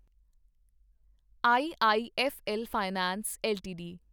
IIFL finance LTD